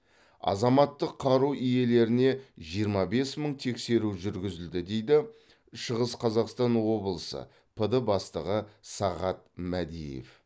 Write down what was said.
азаматтық қару иелеріне жиырма бес мың тексеру жүргізілді дейді шығыс қазақстан облысы пд бастығы сағат мәдиев